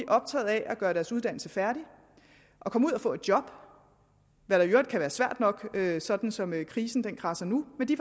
optaget af at gøre deres uddannelse færdig og komme ud at få et job hvad der i øvrigt kan være svært nok sådan som krisen kradser nu men de